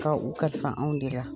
Nga u ka fisa anw de la.